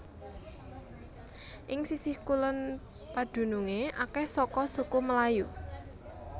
Ing sisih kulon padunungé akèh saka suku Melayu